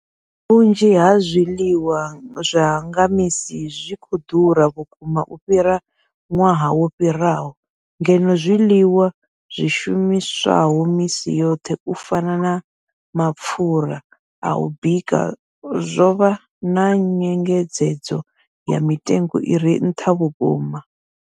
Vhunzhi ha zwiḽiwa zwa nga misi zwi vho ḓura vhukuma u fhira ṅwaha wo fhiraho, ngeno zwiḽiwa zwi shumiswaho misi yoṱhe u fana na mapfhura a u bika zwo vha na nyengedzedzo ya mitengo i re nṱha vhukuma.